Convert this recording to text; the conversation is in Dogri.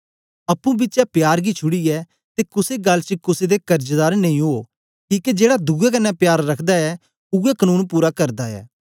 अप्पुं बिचें प्यार गी छुड़ीयै ते कुसे गल्ल च कुसे दे कर्जदार नेई उवो किके जेड़ा दुए कन्ने प्यार रखदा ऐ उवै कनून पूरा कित्ता ऐ